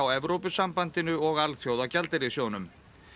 Evrópusambandinu og Alþjóðagjaldeyrissjóðnum